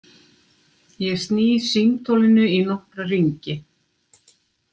Ég sný símtólinu í nokkra hringi.